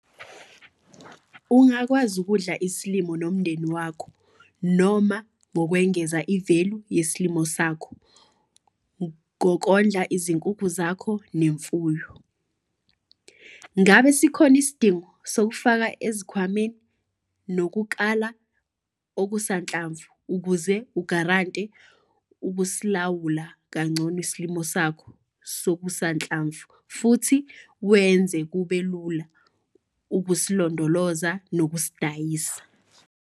Ungakwazi ukudla isilimo nomndeni wakho, noma ngokwengeza ivelu yesilimo sakho ngokondla izinkukhu zakho nemfuyo? Ngabe sikhona isidingo sokufaka ezikhwameni nokukala okusanhlamvu ukuze ugarante ukusilawula kangcono isilimo sakho sokusanhlamvu futhi wenze kube lula ukusilondoloza nokusidayisa?